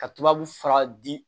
Ka tubabu fura di